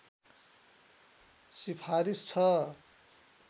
सिफारिस छ